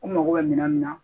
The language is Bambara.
U mago bɛ minan min na